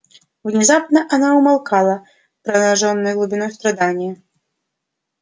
внезапно она умолкала поражённая глубиной страдания